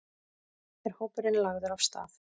Er hópurinn lagður af stað?